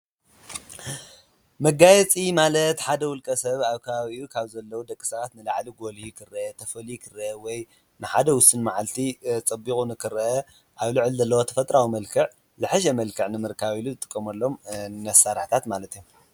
መጋየፂ ማለት ሓደ ዉልቀ ሰብ ካብ ኣብ ከባቢኡ ዘለዉ ደቂሰባት ንላዓሊ ጐሊሁ ክረአ ፣ተፈልዩ ኽረአ ወይ ከዓ ንሓደ ውስን መዓልቲ ጸቢቑ ንክርአ ኣብ ሉዕሊኡ ዘለዎ ተፈጥራዊ መልክዕ ዝሐሸ መልክዕ ንምካብ ዝጥቆምሎም ኣሰራርሓታት ማለት እዩ።